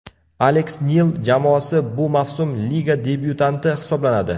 Aleks Nil jamoasi bu mavsum liga debyutanti hisoblanadi.